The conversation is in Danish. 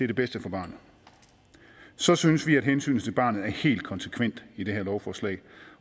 det bedste for barnet så synes vi at hensynet til barnet er helt konsekvent i det her lovforslag